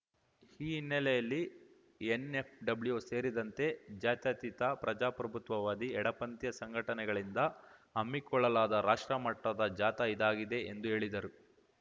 ಈ ಹಿನ್ನೆಲೆಯಲ್ಲಿ ಎನ್‌ಎಫ್‌ಡಬ್ಲ್ಯು ಸೇರಿದಂತೆ ಜಾತ್ಯತೀತ ಪ್ರಜಾಪ್ರಭುತ್ವವಾದಿ ಎಡಪಂಥೀಯ ಸಂಘಟನೆಗಳಿಂದ ಹಮ್ಮಿಕೊಳ್ಳಲಾದ ರಾಷ್ಟ್ರ ಮಟ್ಟದ ಜಾಥಾ ಇದಾಗಿದೆ ಎಂದು ಹೇಳಿದರು